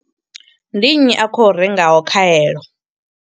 Ndi nnyi a khou rengaho khaelo?